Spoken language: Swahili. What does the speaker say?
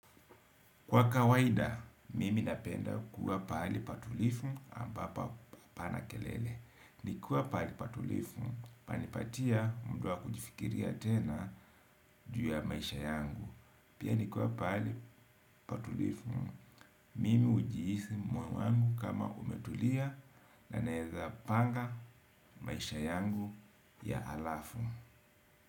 Kwa kawaida, mimi napenda kuwa pahali patulivu ambapo hapana kelele. Nikiwa pahali patulivu, pananipatia muda wa kujifikiria tena juu ya maisha yangu. Pia nikiwa pahali patulivu, mimi hujihisi moyo wangu kama umetulia na naweza panga maisha yangu ya halafu.